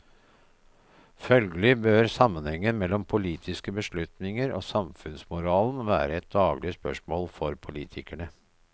Følgelig bør sammenhengen mellom politiske beslutninger og samfunnsmoralen være et daglig spørsmål for politikerne.